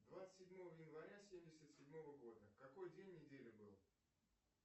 двадцать седьмого января семьдесят седьмого года какой день недели был